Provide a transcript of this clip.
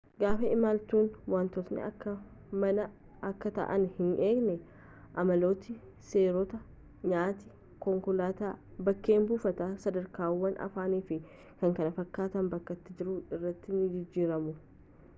gaafa imaltu wantootni akka manaa akka ta'aniiti hin eegin amaloota seerota nyaata konkolaataa bakkee buufataa sadarkaawwan afaanii fi kkf bakka ati jirtu irraa ni jijjiiramu